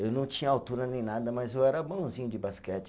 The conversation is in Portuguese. Eu não tinha altura nem nada, mas eu era bonzinho de basquete.